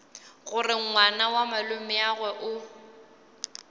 gore ngwana wa malomeagwe o